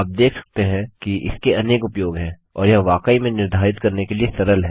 अतः आप देख सकते हैं कि इसके अनेक उपयोग हैं और यह वाकई में निर्धारित करने के लिए सरल है